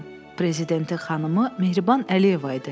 Prezidentin xanımı Mehriban Əliyeva idi.